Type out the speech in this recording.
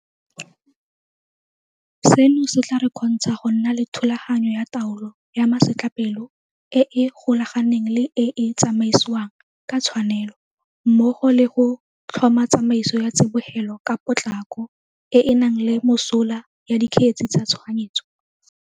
Seno se tla re kgontsha go nna le thulaganyo ya taolo ya masetlapelo e e golaganeng le e e tsamaisiwang ka tshwanelo mmogo le go tlhoma tsamaiso ya tsibogelo ka potlako e e nang le mosola ya dikgetse tsa tshoganyetso.